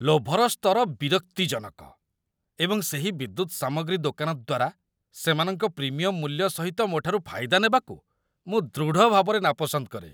ଲୋଭର ସ୍ତର ବିରକ୍ତିଜନକ, ଏବଂ ସେହି ବିଦ୍ୟୁତ ସାମଗ୍ରୀ ଦୋକାନ ଦ୍ୱାରା ସେମାନଙ୍କ ପ୍ରିମିୟମ୍‌ ମୂଲ୍ୟ ସହିତ ମୋଠାରୁ ଫାଇଦା ନେବାକୁ ମୁଁ ଦୃଢ଼ ଭାବରେ ନାପସନ୍ଦ କରେ